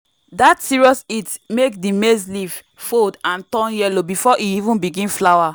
dat serious heat make the maize leaf fold and turn yellow before e even begin flower.